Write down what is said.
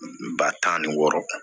Ba tan ni wɔɔrɔ